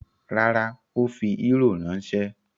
Rárá, ó fi eúrò ránṣẹ́.